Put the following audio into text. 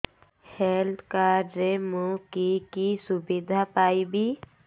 health card ରେ ମୁଁ କି କି ସୁବିଧା ପାଇବି